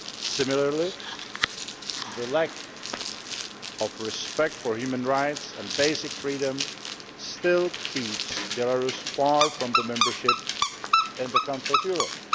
Similarly, the lack of respect for human rights and basic freedoms still keeps Belarus far from membership of the Council of Europe.